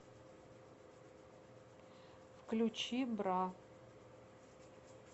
включи бра